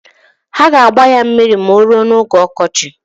Ha g'agba ya mmiri ma oruo n'oge okochi.